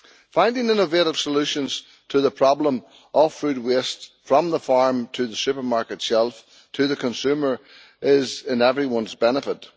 Finding innovative solutions to the problem of food waste from the farm to the supermarket shelf, to the consumer is in everyone's benefit.